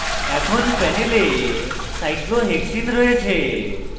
এখন panel cyclohexene cyclohexene রয়েছে